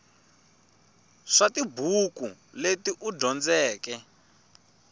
swa tibuku leti u dyondzeke